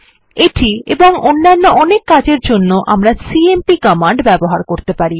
এটি এবং অন্যান্য অনেক কাজের জন্য আমরা সিএমপি কমান্ড ব্যবহার করতে পারি